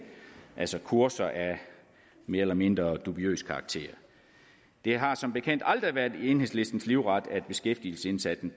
altså kurser af mere eller mindre dubiøs karakter det har som bekendt aldrig været enhedslistens livret at beskæftigelsesindsatsen